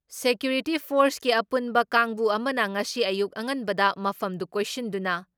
security ꯐꯣꯔꯁꯀꯤ ꯑꯄꯨꯟꯕ ꯀꯥꯡꯕꯨ ꯑꯃꯅ ꯉꯁꯤ ꯑꯌꯨꯛ ꯑꯉꯟꯕꯗ ꯃꯐꯝꯗꯨ ꯀꯣꯏꯁꯤꯟꯗꯨꯅ